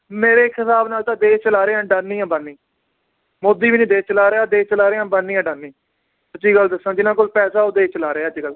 ਮੇਰੇ ਇੱਕ ਹਿਸਾਬ ਨਾਲ ਤਾਂ ਦੇਸ਼ ਚਲਾ ਰਹੇ ਆ ਅੰਡਾਨੀ ਅੰਬਾਨੀ ਮੋਦੀ ਵੀ ਨੀ ਦੇਸ਼ ਚਲਾ ਰਿਹਾ, ਦੇਸ਼ ਚਲਾ ਰਹੇ ਹੈ ਅੰਬਾਨੀ ਆਡਾਨੀ, ਸਚੀ ਗੱਲ ਦੱਸਾਂ ਜਿਨਾਂ ਕੋਲ ਪੈਸੇ ਉਹ ਦੇਸ਼ ਚਲਾ ਰਹੇ ਆ ਅੱਜਕੱਲ